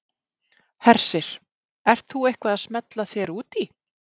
Hersir: Ert þú eitthvað að smella þér út í?